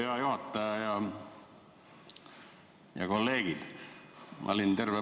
Hea juhataja ja kolleegid!